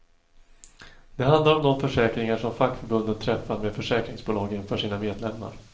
Det handlar om de försäkringar som fackförbunden träffar med försäkringsbolagen för sina medlemmar.